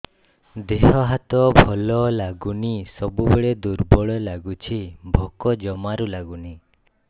ଦେହ ହାତ ଭଲ ଲାଗୁନି ସବୁବେଳେ ଦୁର୍ବଳ ଲାଗୁଛି ଭୋକ ଜମାରୁ ଲାଗୁନି